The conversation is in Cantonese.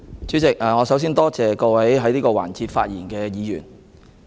主席，我首先多謝各位在這環節發言的議員。